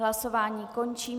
Hlasování končím.